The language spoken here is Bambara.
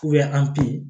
an pe